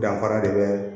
Danfara de bɛ